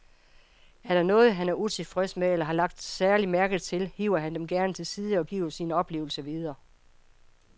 Er der noget, han er utilfreds med eller har lagt særlig mærke til, hiver han dem gerne til side og giver sine oplevelser videre.